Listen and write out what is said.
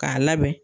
K'a labɛn